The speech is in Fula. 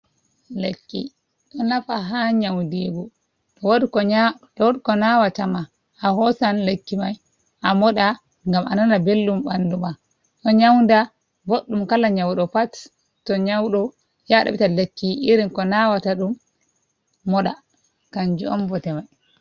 Lekki ɗo nafa ha nyaundigu to wodi ko nawata ma a hosan lekki mai a moɗa ngam a nana belɗum ɓandu ma. Ɗo nyauda boɗɗum kala nyauɗo pat to nyauɗo ya ɗaɓita lekki irin ko nawata ɗum moɗa kanjum on bote mai.